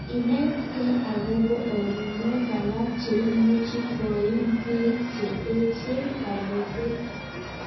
Inetkei akobo ortnuek alak cheimuch koiim bik che echeng kabutet.